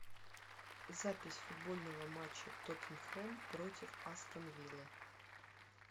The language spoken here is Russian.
запись футбольного матча тоттенхэм против астон виллы